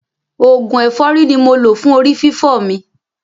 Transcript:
Oògùn ẹ̀fọ́rí ni mo lò fún orí fífọ́ mi.